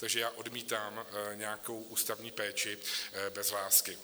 Takže já odmítám nějakou ústavní péči bez lásky.